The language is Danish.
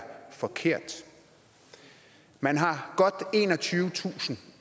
forkert man har godt enogtyvetusind